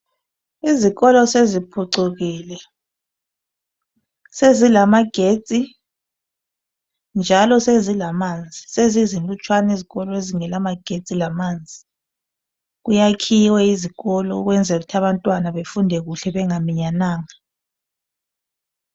Izikolo seziphucukile, sezilamagetsi njalo sezilamanzi. Sezizilutshwana izikolo ezingela magetsi lamanzi. Kuyakhiwe izikolo kwenzela ukuthi. abantwana bafunde kuhle bengaminyananga.